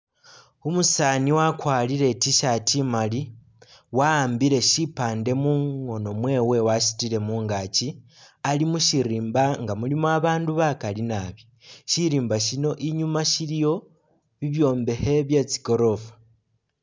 Umusaani wakwarire I'T-shirt imaali wa'ambile shipaande mukhoono mwewe wasutile mungaaki, ali mu syirimba nga mulimo abaandu bakaali naabi. Siriimba sino inyuuma siliyo bibyombekhe bye tsigoroofa.